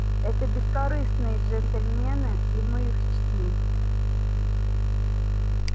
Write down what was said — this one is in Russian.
это бескорыстные джентльмены и мы их чтим